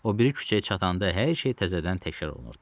O biri küçəyə çatanda hər şey təzədən təkrar olunurdu.